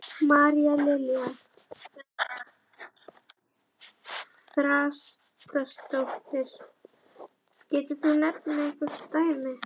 María Lilja Þrastardóttir: Getur þú nefnt einhver dæmi?